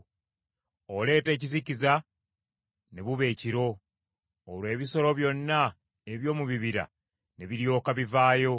Oleeta ekizikiza, ne buba ekiro; olwo ebisolo byonna eby’omu bibira ne biryoka bivaayo.